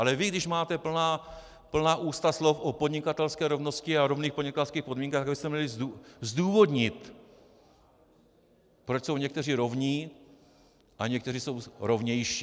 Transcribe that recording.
Ale vy, když máte plná ústa slov o podnikatelské rovnosti a rovných podnikatelských podmínkách, tak byste měli zdůvodnit, proč jsou někteří rovni a někteří jsou rovnější.